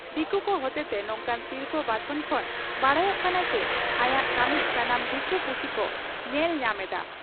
ᱫᱤᱠᱩ ᱠᱚ ᱦᱚᱛᱮᱛᱮ ᱱᱚᱝᱠᱟᱱ ᱥᱤᱨᱯᱷᱟᱹ ᱵᱟᱪᱷᱚᱱ ᱠᱷᱚᱱ ᱵᱟᱰᱟᱭᱚᱜ ᱠᱟᱱᱟ ᱪᱤ ᱟᱭᱟᱜ ᱠᱟᱹᱢᱤ ᱥᱟᱱᱟᱢ ᱫᱤᱠᱩ ᱯᱩᱥᱤ ᱠᱚ ᱧᱮᱞ ᱧᱟᱢ ᱮᱫᱼᱟ ᱾